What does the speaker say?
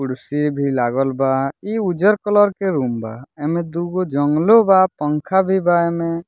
कुर्सी भी लागल बा ई उज्जर कलर के रूम बा एमें दूगो जंगलो बा पंखा भी बा इमें।